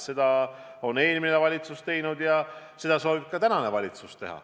Seda on eelmine valitsus teinud ja seda soovib teha ka tänane valitsus.